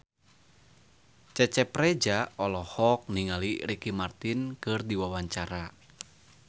Cecep Reza olohok ningali Ricky Martin keur diwawancara